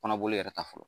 Kɔnɔboli yɛrɛ ta fɔlɔ